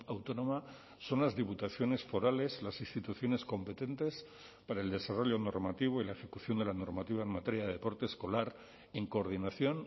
autónoma son las diputaciones forales las instituciones competentes para el desarrollo normativo y la ejecución de la normativa en materia de deporte escolar en coordinación